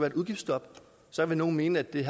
et udgiftsstop så vil nogle mene at vi